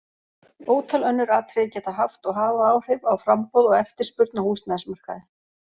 Ótal önnur atriði geta haft og hafa áhrif á framboð og eftirspurn á húsnæðismarkaði.